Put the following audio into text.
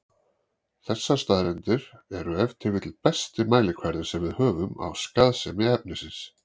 Þessar staðreyndir eru ef til vill besti mælikvarðinn sem við höfum á skaðsemi efnisins.